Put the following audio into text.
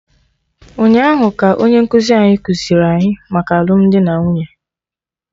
Ụnyaahụ ka onye nkụzi anyị kụziiri anyị maka alụmdi na nwunye